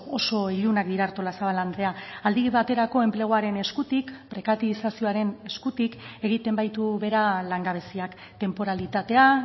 oso ilunak dira artolazabal andrea aldi baterako enpleguaren eskutik prekarizazioaren eskutik egiten baitu behera langabeziak tenporalitatea